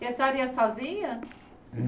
E a senhora ia sozinha?